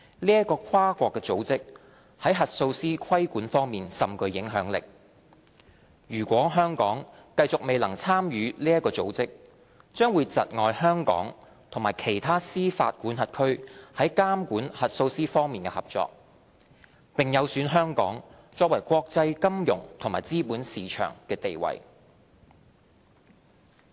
該跨國組織在核數師規管方面甚具影響力，如果香港繼續未能參與該組織，將會窒礙香港與其他司法管轄區在監管核數師方面的合作，並有損香港作為國際金融及資本市場的地位。